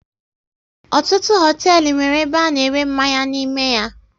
Ọtụtụ hoteelu nwéré ebe a na ere mmanya n'ime ya